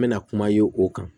N mɛna kuma ye o kan